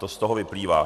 To z toho vyplývá.